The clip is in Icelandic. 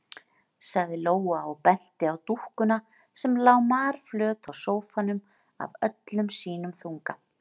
sagði Lóa og benti á dúkkuna sem lá marflöt á sófanum af öllum sínum þunga.